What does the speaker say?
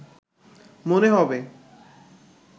মনে হবে